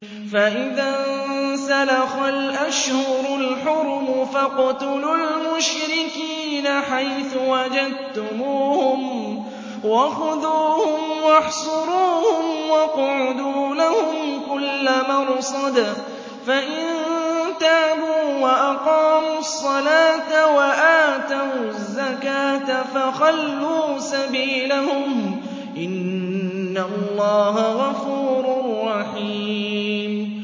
فَإِذَا انسَلَخَ الْأَشْهُرُ الْحُرُمُ فَاقْتُلُوا الْمُشْرِكِينَ حَيْثُ وَجَدتُّمُوهُمْ وَخُذُوهُمْ وَاحْصُرُوهُمْ وَاقْعُدُوا لَهُمْ كُلَّ مَرْصَدٍ ۚ فَإِن تَابُوا وَأَقَامُوا الصَّلَاةَ وَآتَوُا الزَّكَاةَ فَخَلُّوا سَبِيلَهُمْ ۚ إِنَّ اللَّهَ غَفُورٌ رَّحِيمٌ